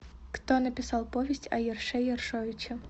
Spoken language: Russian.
кто написал повесть о ерше ершовиче